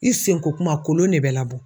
I senko kuma kolon ne bɛ labɔ.